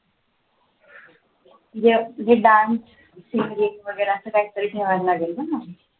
म्हणजे dance संगीत वगैरे असं काहीतरी ठेवावा लागेल ना?